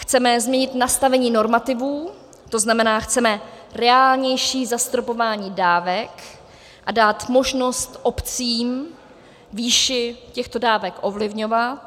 Chceme změnit nastavení normativů, to znamená, chceme reálnější zastropování dávek a dát možnost obcím výši těchto dávek ovlivňovat.